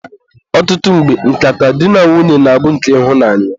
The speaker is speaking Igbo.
ọtụtụ mgbe, nkata di na nwunye na-abụ nke ịhụnanya.